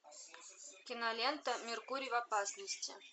кинолента меркурий в опасности